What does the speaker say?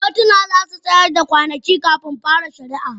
kotuna za su tsayar da ranaku kafin fara shari'a